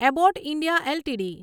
Abbott India LTD